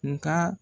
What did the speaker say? Nga